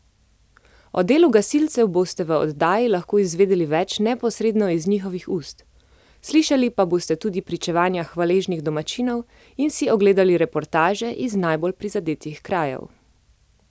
O delu gasilcev boste v oddaji lahko izvedeli več neposredno iz njihovih ust, slišali pa boste tudi pričevanja hvaležnih domačinov in si ogledali reportaže iz najbolj prizadetih krajev.